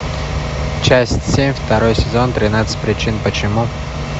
часть семь второй сезон тринадцать причин почему